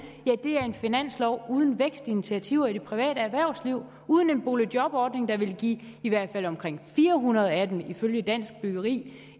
ja det er en finanslov uden vækstinitiativer i det private erhvervsliv og uden en boligjobordning der ville give i hvert fald omkring fire hundrede af dem en praktikplads ifølge dansk byggeri